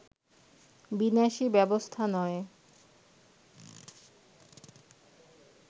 বিনাশী ব্যবস্থা নয়